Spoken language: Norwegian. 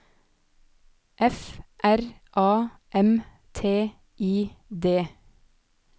F R A M T I D